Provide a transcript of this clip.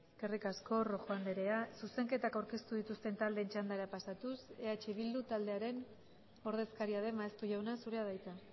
eskerrik asko rojo andrea zuzenketak aurkeztu dituzten taldeen txandara pasatuz eh bildu taldearen ordezkaria den maeztu jauna zurea da hitza